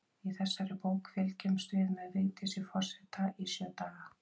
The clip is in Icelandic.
Í þessari bók fylgjumst við með Vigdísi forseta í sjö daga.